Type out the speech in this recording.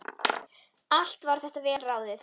Allt var þetta vel ráðið.